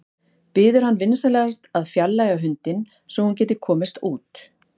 Biður hann vinsamlegast að fjarlægja hundinn svo að hún geti komist út.